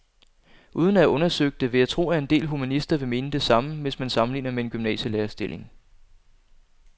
Uden at have undersøgt det vil jeg tro, at en del humanister vil mene det samme, hvis man sammenligner med en gymnasielærerstilling.